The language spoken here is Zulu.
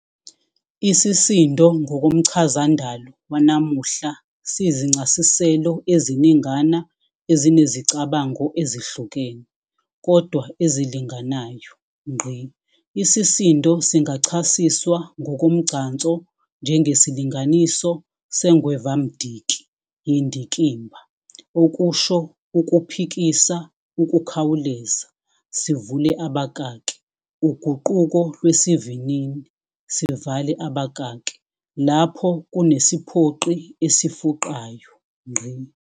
Isisindo ngkomchazandalo wanamuhla sinzincasiselo eziningana ezinezicabango ezihlukene, kodwana ezilinganayo. isisindo singachasiswa ngokomgcanso njengesilinganiso sengwevamdiki yendikimba, okusho ukuphikisa ukukhawuleza, sivule abakaki uguquko lwesivinini sivale babakaki lapho kunesiphoqi esifuqayo.